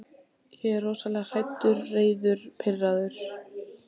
Björn var mjög hafður að vinnu eins og fyrr segir.